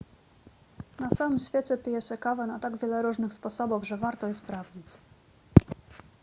na całym świecie pije się kawę na tak wiele różnych sposobów że warto je sprawdzić